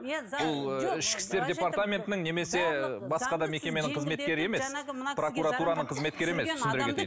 бұл ішкі істер департаментінің немесе ыыы басқа да мекеменің қызметкері емес прокуратураның қызметкері емес түсіндіре кетейін